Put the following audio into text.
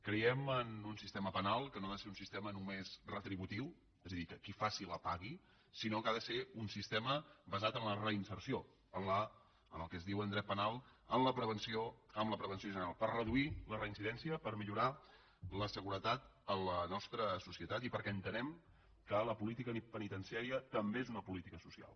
creiem en un sistema penal que no ha de ser un sistema només retributiu és a dir que qui faci la pagui sinó que ha de ser un sistema basat en la reinserció en el que es diu en dret penal la prevenció general per reduir la reincidència per millorar la seguretat a la nostra societat i perquè entenem que la política penitenciària també és una política social